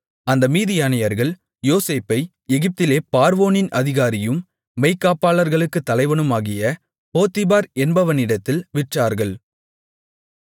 அந்த மீதியானியர்கள் யோசேப்பை எகிப்திலே பார்வோனின் அதிகாரியும் மெய்க்காப்பாளர்களுக்கு தலைவனுமாகிய போத்திபார் என்பவனிடத்தில் விற்றார்கள்